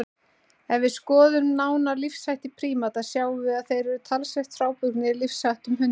Ef við skoðum nánar lífshætti prímata sjáum við að þeir eru talsvert frábrugðnir lífsháttum hunda.